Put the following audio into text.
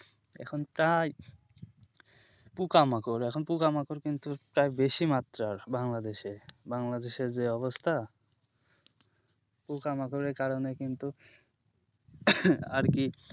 এখন তাই পোকামাকড় এখন পোকামাকড় কিন্তু বেশি মাত্রায় বাংলাদেশে বাংলাদেশের যে অবস্থা পোকামাকড়ের কারণে কিন্তু আরকি,